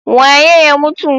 Waye ya mutu?